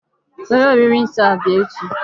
Were olili nsọ a bịa echi.